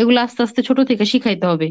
এগুলো আস্তে আস্তে ছোটো থেকে শিখাইতে হবে।